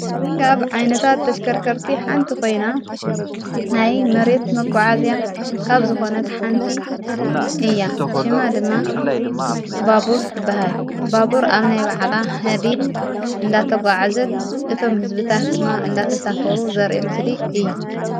እነጋ ኣብ ዓይነታት ተሽከርከርቲ ሓንቲ ኾይና ናይ መሬት መጐዓእዝያ ካብ ዝኾነት ሓንቲ እያ ሽማ ድማ ባቡርት በሃል ባቡር ኣብ ናይ ባዕላ ሕዲድ እንዳተ ጐዓዘት እቶም ሕዝብታት ድማ እንዳተሳፈሩ ዘርአ ምስሊ እዩ።